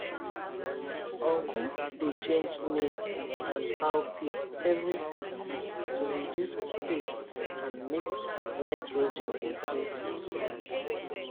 uncle dey change maize and cowpea every season to reduce pest and make nitrogen increase for soil